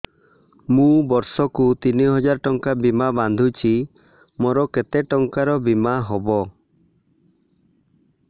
ମୁ ବର୍ଷ କୁ ତିନି ହଜାର ଟଙ୍କା ବୀମା ବାନ୍ଧୁଛି ମୋର କେତେ ଟଙ୍କାର ବୀମା ହବ